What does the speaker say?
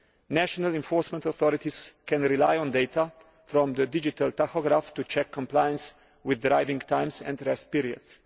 National enforcement authorities can rely on data from the digital tachograph to check compliance with driving times and rest periods.